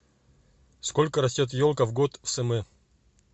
сколько растет елка в год в см